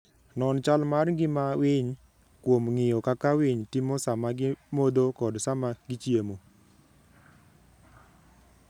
Non chal mar ngima winy kuom ng'iyo kaka winy timo sama gimodho kod sama gichiemo.